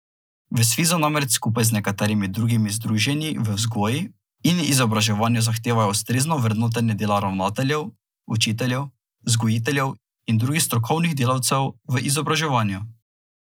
V Svizu namreč skupaj z nekaterimi drugimi združenji v vzgoji in izobraževanju zahtevajo ustrezno vrednotenje dela ravnateljev, učiteljev, vzgojiteljev in drugih strokovnih delavcev v izobraževanju.